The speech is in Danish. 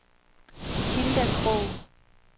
Hilda Krogh